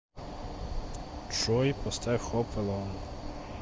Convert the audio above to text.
джой поставь хоп элон